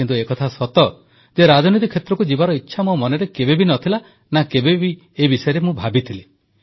କିନ୍ତୁ ଏକଥା ସତ ଯେ ରାଜନୀତି କ୍ଷେତ୍ରକୁ ଯିବାର ଇଚ୍ଛା ମୋ ମନରେ କେବେବି ନ ଥିଲା ନା କେବେ ଏ ବିଷୟରେ ଭାବିଥିଲି